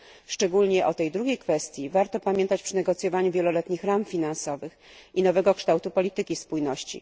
Szczególnie o tej drugiej kwestii warto pamiętać przy negocjowaniu wieloletnich ram finansowych i nowego kształtu polityki spójności.